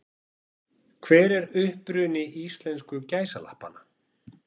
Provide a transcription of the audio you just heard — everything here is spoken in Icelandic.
Hver er uppruni íslensku gæsalappanna?